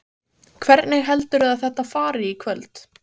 Hvernig heldurðu að þetta fari í kvöld?